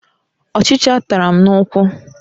Ọchịcha tara m n'ụkwụ.